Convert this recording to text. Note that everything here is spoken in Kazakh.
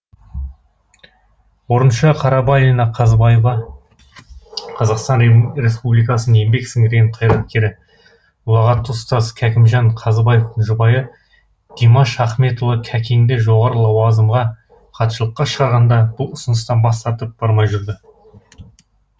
орынша қарабалина қазыбаева қазақстан республикасының еңбек сіңірген қайраткері ұлағатты ұстаз кәкімжан қазыбаевтың жұбайы димаш ахметұлы кәкеңді жоғары лауазымға хатшылыққа шақырғанда бұл ұсыныстан бас тартып бармай жүрді